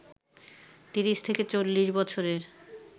ত্রিশ থেকে চল্লিশ বছরের